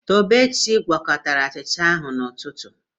Tobechi a gwakọtara achịcha ahụ n'ụtụtụ?